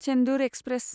Chendur express